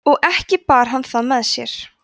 og ekki bar hann það með sér